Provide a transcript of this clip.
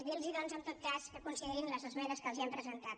dirlos doncs en tot cas que considerin les esmenes que els hem presentat